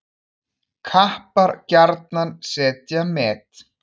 Kappar gjarnan setja met.